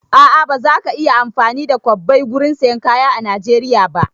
A'a, ba za ka iya amfani da kwabbai gurin sayan kaya a Najeriya ba